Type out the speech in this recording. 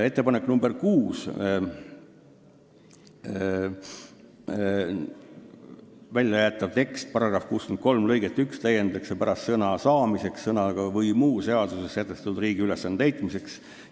Ettepanek nr 6, väljajäetav tekst: "§ 63 lõiget 1 täiendatakse pärast sõna "saamiseks" sõnadega "või muu seaduses sätestatud riigi ülesande täitmiseks".